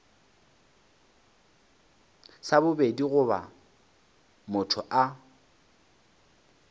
sa bobedi goba motho a